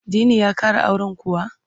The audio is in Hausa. Dini ya ƙara auren kuwa?